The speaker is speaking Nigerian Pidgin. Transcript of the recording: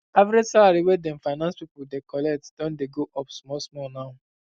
average salary wey dem finance pipu dey collect don dey go up small small now